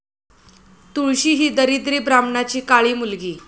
तुळशी ही दरिद्री ब्राह्मणाची काळी मुलगी.